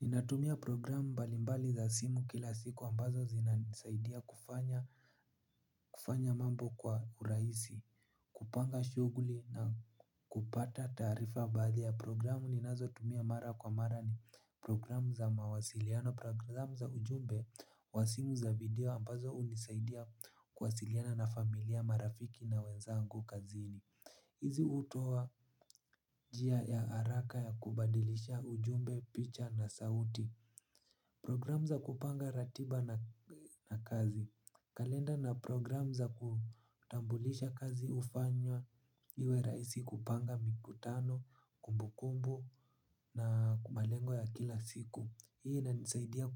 Ninatumia programu mbalimbali za simu kila siku ambazo zinanisaidia kufanya mambo kwa urahisi. Kupanga shughuli na kupata taarifa baadhi ya programu ninazotumia mara kwa mara ni programu za mawasiliano. Programu za ujumbe wa simu za video ambazo hunisaidia kuwasiliana na familia marafiki na wenzangu kazini. Hizi hutoa njia ya haraka ya kubadilisha ujumbe picha na sauti. Program za kupanga ratiba na kazi. Kalenda na program za kutambulisha kazi hufanywa iwe rahisi kupanga mikutano, kumbukumbu na malengo ya kila siku. Hii inanisaidia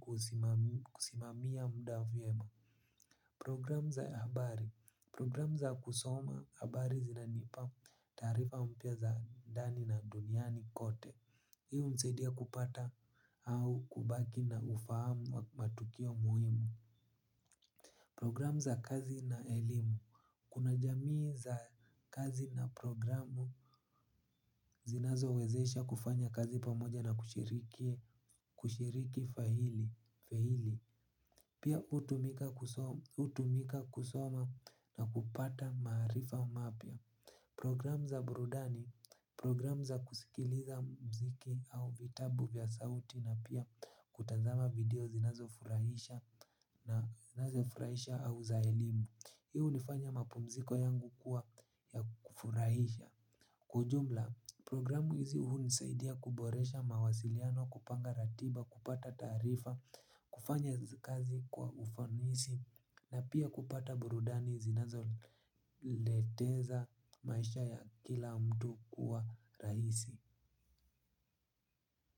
kusimamia mda vyema. Program za habari. Program za kusoma habari zinanipa taarifa mpya za ndani na duniani kote. Hii hunisaidia kupata au kubaki na ufahamu matukio muhimu. Program za kazi na elimu. Kuna jamii za kazi na programu zinazowezesha kufanya kazi pamoja na kushiriki faili. Pia hutumika kusoma na kupata maarifa mapya. Program za burudani program za kusikiliza mziki au vitabu vya sauti na pia kutazama video zinazofurahisha na zinazofurahisha au za elimu hii hunifanya mapumziko yangu kuwa ya kufurahisha. Kwa ujumla, programu hizi hunisaidia kuboresha mawasiliano kupanga ratiba kupata taarifa kufanya kazi kwa ufanisi na pia kupata burudani zinazoleteza maisha ya kila mtu kuwa rahisi.